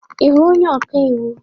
Ị hụrụ onye ọka iwu?